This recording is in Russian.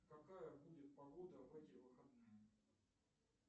какая будет погода в эти выходные